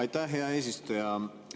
Aitäh, hea eesistuja!